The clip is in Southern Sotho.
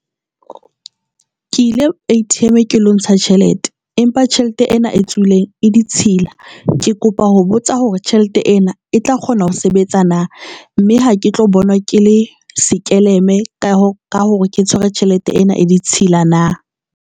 Ke ile A_T_M ke lo ntsha tjhelete empa tjhelete ena e tswileng e ditshila ke kopa ho botsa hore tjhelete ena e tla kgona ho sebetsa nna mme ha ke tlo bonwa ke le sekeleme ka hore ke tshwere tjhelete ena e ditshila na?